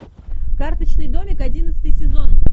карточный домик одиннадцатый сезон